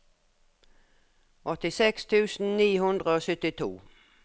åttiseks tusen ni hundre og syttito